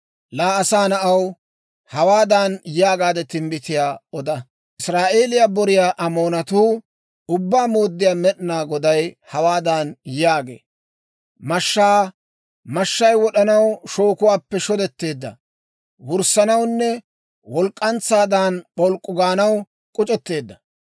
«Laa asaa na'aw, hawaadan yaagaade timbbitiyaa oda; ‹Israa'eeliyaa boriyaa Amoonatoo Ubbaa Mooddiyaa Med'inaa Goday hawaadan yaagee; «Mashshaa! mashshay wod'anaw shookuwaappe shodetteedda; wurssanawunne walk'k'antsaadan p'olk'k'u gaanaw k'uc'etteedda.